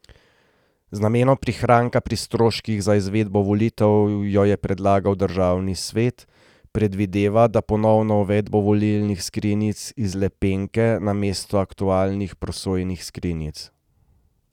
Z namenom prihranka pri stroških za izvedbo volitev jo je predlagal državni svet, predvideva pa ponovno uvedbo volilnih skrinjic iz lepenke namesto aktualnih prosojnih skrinjic.